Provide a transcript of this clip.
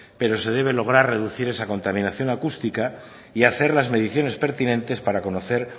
pero se debe lograr reducir esa contaminación acústica y hacer las mediciones pertinentes para conocer